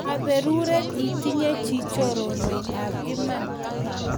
Kaperuret itinye chi choronok ap iman